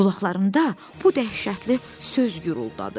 Qulaqlarında bu dəhşətli söz guruladı.